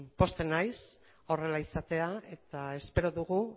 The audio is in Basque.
pozten naiz horrela izateaz eta espero dugu